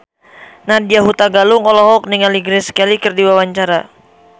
Nadya Hutagalung olohok ningali Grace Kelly keur diwawancara